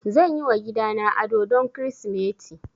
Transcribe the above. Zan yi wa gidana ado don Kirsimeti